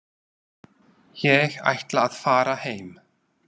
Ég ætla að fara heim.